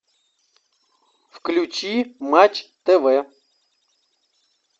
включи матч тв